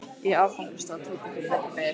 Í áfangastað tók ekki betra við.